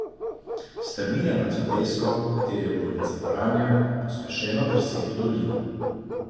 Strmina nad sotesko, v kateri je Bolnica Franja, pospešeno drsi v dolino.